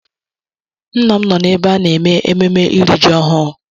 Nna m nọ n'ebe a na-eme ememme iri ji ọhụrụ.